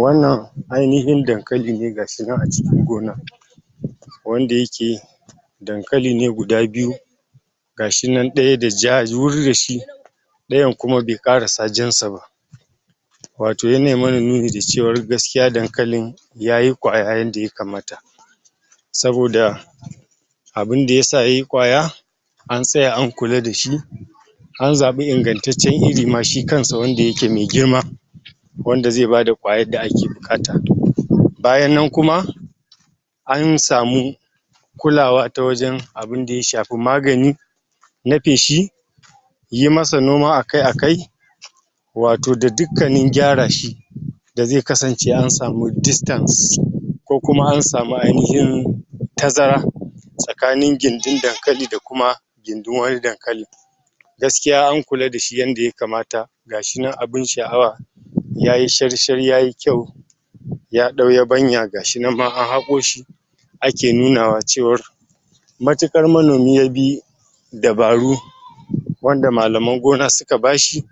Wannan ainahin Dankali ne ga shi nan a cikin gona wanda yake Dankali ne guda biyu ɗaya da jur da shi ɗayan kuma bai ƙarasa jan sa ba wato yanai mana nuni da cewa gaskiya Dankali yayi kwaya yanda ya kamata saboda abinda ya sa yai kwaya an tsaya an kula da shi an zaɓi ingantaccen iri ma shi kansa wanda yake me girma wanda zai bada kwayar da ake buƙata bayan nan kuma an samu kulawa ta wajen abinda ya shafi magani na feshi yi masa noma akai-akai wato da dukkanin gyara shi da zai kasance an samu Distance ko kuma an samu ainahin tazara tsakanin gindin Dankali da kuma gindin wani Dankalin gaskiya an kula da shi yanda ya kamata ga shi nan abin sha'awa ya yi shar-shar ya yi kyau ya ɗan yabanya ga shinan ma an haƙo shi ake nunawa cewar matuƙar manomi ya bi dabaru wanda malaman gona suka ba shi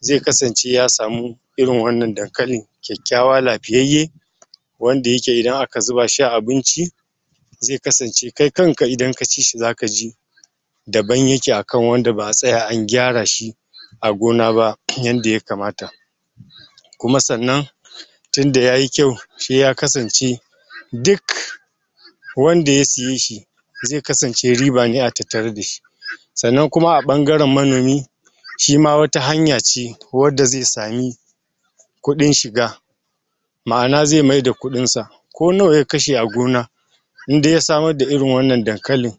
zai kasance ya samu irin wannan Dankali kyakkyawa lafiyayye wanda yake idan ak zuba shi a abinci zai kasance kai kanka idan ka ci shi zaka ji daban yake akan wanda ba tsaya an gyara shi a gona ba yanda ya kamata kuma sannan tinda ya yi kyau shiya kasance duk wanda ya siye shi zai kasance riba ne a tattare da shi sannan kuma a ɓangaren magani shi ma wata hanya ce wadda zai sami kuɗin shiga ma'ana zai maida kuɗinsa ko nawa ya kashe a gona in dai ya samar da irin wannan Dankalin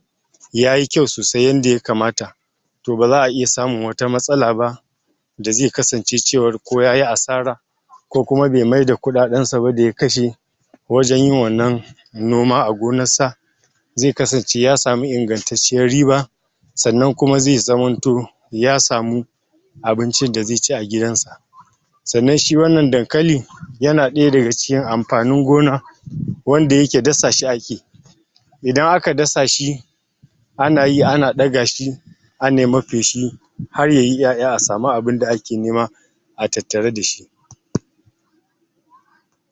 ya yi kyau sosai yanda ya kamata to ba za a iya samun wata matsala ba da zai kasance cewar ko yayi asara ko kuma bai maida kuɗaɗen shi ba da ya kashe wajen yin wannan noma a gonassa zai kasance ya samu ingantacciyar riba sannan kuma zai zamanto ya samu abincin da zai ci a gidansa sannan shi wannan Dankali yana ɗaya daga cikin amfanin gona wanda yake dasa shi ake idan aka dasa shi ana yi ana ɗaga shi anai mai feshi har ya yi 'ya'ya a samu abinda ake nema a tattare da shi